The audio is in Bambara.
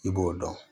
I b'o dɔn